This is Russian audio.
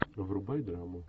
врубай драму